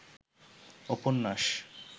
উপন্যাস